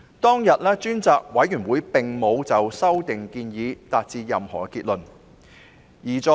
當日，專責委員會並沒有就修訂建議達成任何結論。